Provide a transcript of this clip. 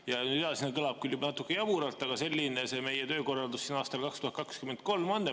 Ja edasine kõlab küll natuke jaburalt, aga selline see meie töökorraldus aastal 2023 on.